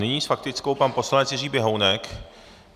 Nyní s faktickou pan poslanec Jiří Běhounek.